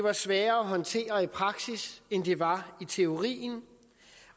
er sværere at håndtere i praksis end det var i teorien